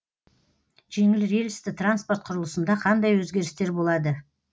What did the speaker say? жеңіл рельсті транспорт құрылысында қандай өзгерістер болады